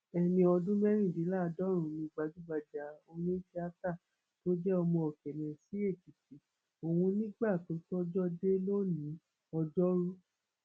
ẹni ọdún mẹrìndínláàádọrùnún ni gbajúgbajà onítìátà tó jẹ ọmọ òkèmẹsì èkìtì ọhún nígbà tójọjọ dé lónìí òjoru